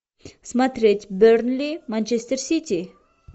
смотреть бернли манчестер сити